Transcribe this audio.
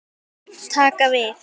Taka við?